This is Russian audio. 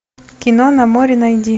кино на море найди